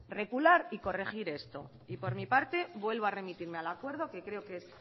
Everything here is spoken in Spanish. recular y corregir esto y por mi parte vuelvo a remitirme al acuerdo que creo que es